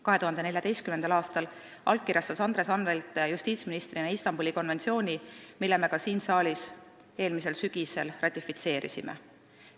2014. aastal allkirjastas Andres Anvelt justiitsministrina Istanbuli konventsiooni, mille me ka siin saalis eelmisel sügisel ratifitseerisime.